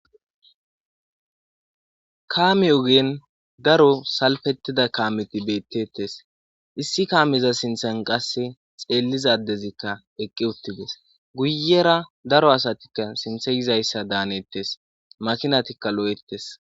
kaami ogen daro salfettida kaameti beettettes issi kaamiza sinthan qasse xeelliza adezikka eqqi uttides guyera daro asatikka sinthe yizayssa daanettes makinatikka lo'ettes